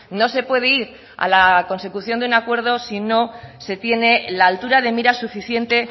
no se puede ir a la consecución de un acuerdo si no se tiene la altura de mira suficiente